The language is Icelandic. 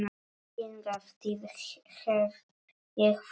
Hingað til hef ég þagað.